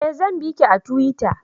Eh zan biki a tuwita